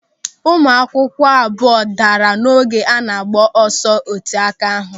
Ụmụakwụkwọ abụọ daara n'oge a na-agba ọsọ oteáká ahụ.